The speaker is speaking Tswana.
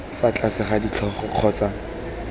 fa tlase ga ditlhogo kgotsa